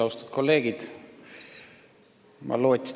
Austatud kolleegid!